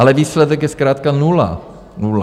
Ale výsledek je zkrátka nula, nula.